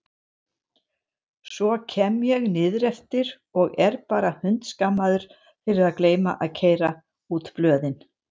Svo kem ég niðreftir og er bara hundskammaður fyrir að gleyma að keyra út blöðin!